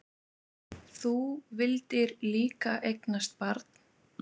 Þú vildir líka eignast barn.